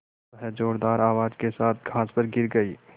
वह ज़ोरदार आवाज़ के साथ घास पर गिर गई